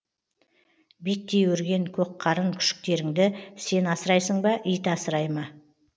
биттей өрген көкқарын күшіктеріңді сен асырайсың ба ит асырай ма